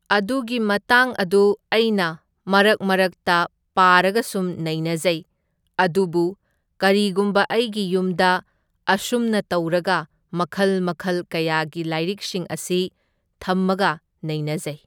ꯑꯗꯨꯒꯤ ꯃꯇꯥꯡ ꯑꯗꯨ ꯑꯩꯅ ꯃꯔꯛ ꯃꯔꯛꯇ ꯄꯥꯔꯒ ꯁꯨꯝ ꯅꯩꯅꯖꯩ, ꯑꯗꯨꯕꯨ ꯀꯔꯤꯒꯨꯝꯕ ꯑꯩꯒꯤ ꯌꯨꯝꯗ ꯑꯁꯨꯝꯅ ꯇꯧꯔꯒ ꯃꯈꯜ ꯃꯈꯜ ꯀꯌꯥꯒꯤ ꯂꯥꯏꯔꯤꯛꯁꯤꯡ ꯑꯁꯤ ꯊꯝꯃꯒ ꯅꯩꯅꯖꯩ꯫